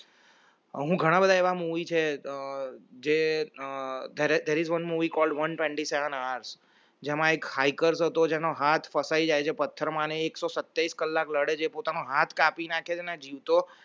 હું ઘણા બધા એવા movie છે જે there is one movie called one twenty-seven hours જેમાં એક hacker હતોજેનો હાથ ફસાઈ જાય છે પથ્થરમાં ને એકસો સિત્તેર કલાક લડે છે પોતાનો હાથ કાપી નાખે છે ને જીવતો